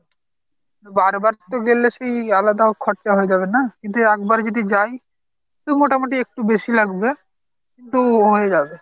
বার বার তো গেলে সেই আলাদা খরচা হয়ে যাবে না, কিন্তু একবার যদি যাই তো মোটামুটি একটু বেশি লাগবে কিন্তু হয়ে যাবে।